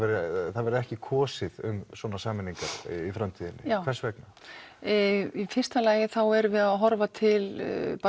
það verði ekki kosið um svona sameiningar í framtíðinni hvers vegna í fyrsta lagi þá erum við að horfa til